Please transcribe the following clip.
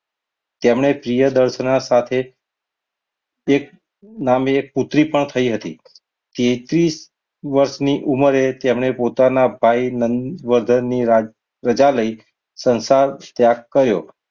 જેમને પ્રિયદર્શના સાથે એક નામે એક પુત્રી પણ થઈ હતી તેત્રીસ વર્ષની ઉંમરે તેમણે પોતાના ભાઈ નંદવર્ધનની રાજધાની રજા લઈને સંસાર ત્યાગ કર્યો.